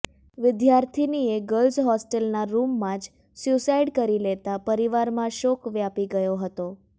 વિદ્યાર્થિનીએ girls હોસ્ટેલના રૂમમાં જ સુસાઈડ કરી લેતા પરિવારમાં શોક વ્યાપી ગયો હતો